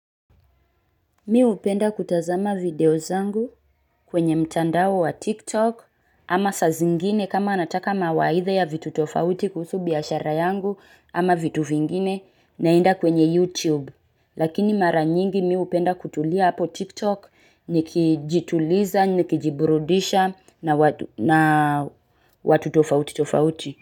Mimi hupenda kutazama video zangu kwenye mtandao wa tiktok ama saa zingine kama nataka mawaidha ya vitu tofauti kuhusu biashara yangu ama vitu vingine naenda kwenye youtube. Lakini mara nyingi mimi hupenda kutulia hapo tiktok nikijituliza nikijiburudisha na watu tofauti tofauti.